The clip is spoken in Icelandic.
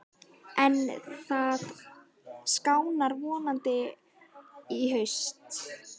En það skánar vonandi í haust.